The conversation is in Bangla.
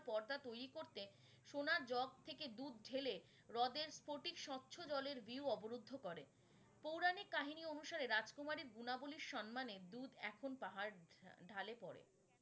পর্দা তৈরি করতে সোনার জগ থেকে দুধ ঢেলে রদের স্ফটিক স্বচ্ছ জলের view অবরুদ্ধ করে পৌরাণিক কাহিনী অনুসারে রাজকুমারীর গুণাবলী সম্মানে দুধ এখন পাহাড় ঢালে পরে।